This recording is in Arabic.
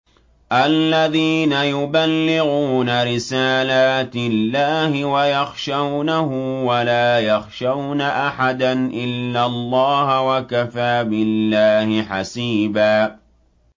الَّذِينَ يُبَلِّغُونَ رِسَالَاتِ اللَّهِ وَيَخْشَوْنَهُ وَلَا يَخْشَوْنَ أَحَدًا إِلَّا اللَّهَ ۗ وَكَفَىٰ بِاللَّهِ حَسِيبًا